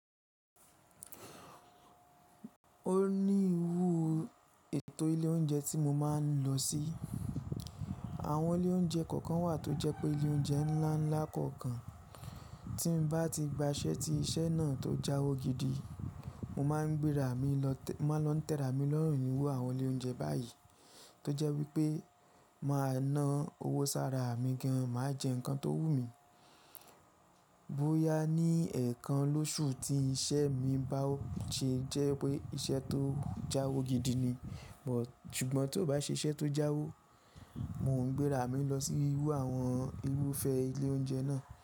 O ní irúù ètò ilé oúnjẹ tí mo máa ń lọ sí. Àwọn ilé oúnjẹ kọ̀ọ̀kan wà tó jẹ́ pé ilé oúnjẹ ńlá ńlá kọ̀ọ̀kan. Tí mo bá ti gba iṣẹ́ tí iṣẹ́ náà tó jáwo gidi, mo máa ń gbéra mi lọ tẹ́ra mi lọ́rùn níru àwọn ilé oúnjẹ báyìí. Tó jẹ́ wípé máa ná owó sára mi gan, màá jẹ nǹkan tó wú mi. Bóyá ní ẹ̀ẹ̀kan lóṣù tí iṣẹ́ mi bá ò ṣe jẹ́ wípé iṣẹ́ tó jáwo gidi ni. Ṣùgbọ́n tó bá ṣe iṣẹ́ tó jáwo, mo ń gbéra mi lọ sí irú àwọn irúfẹ́ ilé oúnjẹ náà.